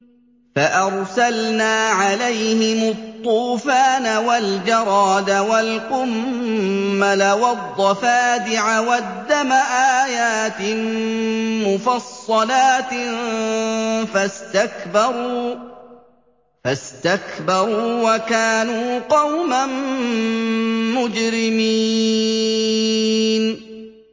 فَأَرْسَلْنَا عَلَيْهِمُ الطُّوفَانَ وَالْجَرَادَ وَالْقُمَّلَ وَالضَّفَادِعَ وَالدَّمَ آيَاتٍ مُّفَصَّلَاتٍ فَاسْتَكْبَرُوا وَكَانُوا قَوْمًا مُّجْرِمِينَ